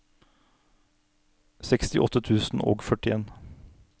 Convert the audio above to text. sekstiåtte tusen og førtien